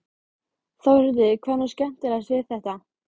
Þórhildur: Hvað er nú skemmtilegast við þetta?